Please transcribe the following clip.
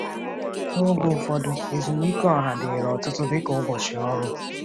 N’oge ụfọdụ, ezumike ọha dịrị ọtụtụ dịka ụbọchị ọrụ.